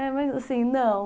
É, mas assim, não.